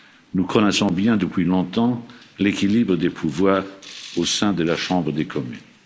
Nous connaissons bien, depuis longtemps, l'équilibre des pouvoirs au sein de la Chambre des communes.